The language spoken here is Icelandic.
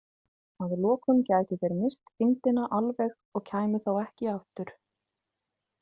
Að lokum gætu þeir misst þyngdina alveg og kæmu þá ekki aftur.